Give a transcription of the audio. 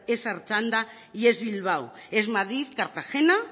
es artxanda y es bilbao es madrid cartagena